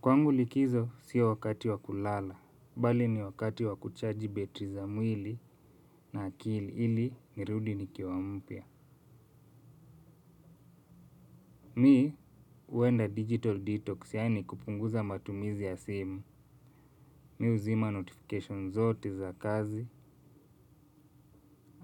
Kwangu likizo sio wakati wakulala, bali ni wakati wakuchaji betri za mwili na akili ili nirudi nikiwa mpya. Mi huenda digital detox yani kupunguza matumizi ya simu. Mi huzima notification zote za kazi.